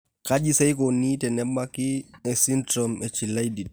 Kaji sa eikoni tenebaki esindirom eChilaiditi?